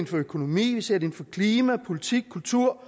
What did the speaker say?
for økonomi vi ser det for klima politik kultur